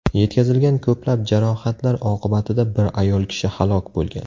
Yetkazilgan ko‘plab jarohatlar oqibatida bir ayol kishi halok bo‘lgan.